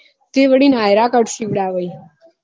એ વડી nayra cut સિવડાવી બધા સિવડાવી